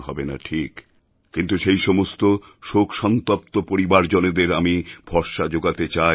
পূরণ হবে না ঠিক কিন্তু সেই সমস্ত শোকসন্তপ্ত পরিবারজনেদের আমি ভরসা যোগাতে